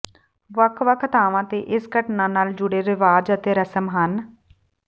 ਵੱਖ ਵੱਖ ਥਾਵਾਂ ਤੇ ਇਸ ਘਟਨਾ ਨਾਲ ਜੁੜੇ ਰਿਵਾਜ ਅਤੇ ਰਸਮ ਹਨ